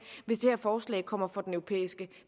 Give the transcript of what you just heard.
hvis det her forslag kommer for den europæiske